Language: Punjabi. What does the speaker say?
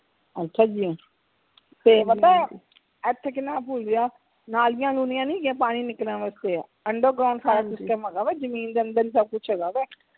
ਅੱਛਾ ਜੀ ਤੇ ਪਤਾ ਇਥੇ ਕਿੰਨਾ ਨਾਲੀਆਂ ਨੁਲੀਆਂ ਨੀ ਹੇਗੀਆਂ ਪਾਣੀ ਨਿਕਲਣ ਵਾਸਤੇ under ground ਸਾਰਾ system ਹੇਗਾ ਵਾ ਜਮੀਨ ਦੇ ਅੰਦਰ ਹੀ ਸਬ ਕੁਛ ਹੇਗਾ ਵਾ